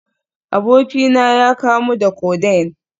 Abokina ya kamu da Codeine